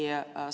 Sellega on ...